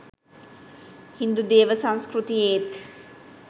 හින්දු දේව සංස්කෘතියේත්